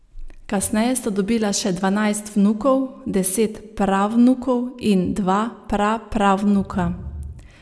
Kasneje sta dobila še dvanajst vnukov, deset pravnukov in dva prapravnuka.